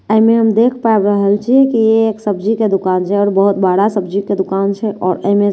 एहि मे हम देख पाबि रहल छिए की ए एक सब्जी के दुकान छै आओर बहुत बड़ा सब्जी के दुकान छै आओर एहि मे शिमला मि --